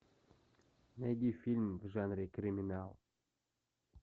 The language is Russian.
найди фильм в жанре криминал